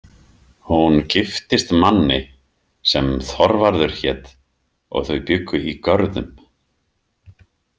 Hún giftist manni sem Þorvarður hét og þau bjuggu í Görðum.